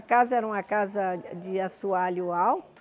A casa era uma casa de de assoalho alto.